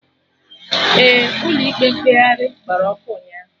Ee, Ụlọ ikpe mkpegharị gbara ọkụ ụnyaahụ